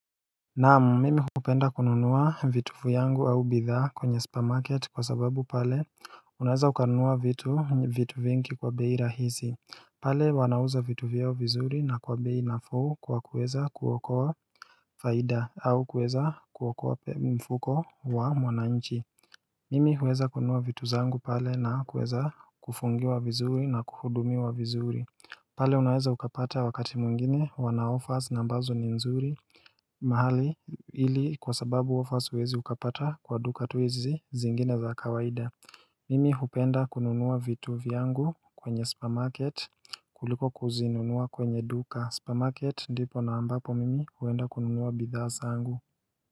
Naam mimi hupenda kununuwa vitu vyangu au bidhaa kwenye spa market kwa sababu pale unaweza ukanunua vitu vitu vingi kwa beira hizi pale wanauza vitu vyao vizuri na kwa bei nafuhu kwa kuweza kuokoa faida au kuweza kuokoa mfuko wa mwananchi Mimi huweza kununua vitu zangu pale na kuweza kufungi wa vizuri na kuhudumi wa vizuri pale unaweza ukapata wakati mwingine wana offers na ambazo ni nzuri mahali ili kwa sababu offers huwezi ukapata kwa duka tu hizi zingine za kawaida Mimi hupenda kununua vitu viangu kwenye supermarket kuliko kuzinunua kwenye duka supermarket ndipo na ambapo mimi huenda kununua bidhasa angu.